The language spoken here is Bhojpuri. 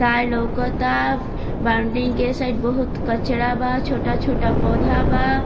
तार लउकता बाउंड्री के साइड बहुत कचरा बा छोटा-छोटा पौधा बा।